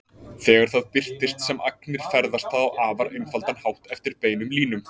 Þegar það birtist sem agnir ferðast það á afar einfaldan hátt eftir beinum línum.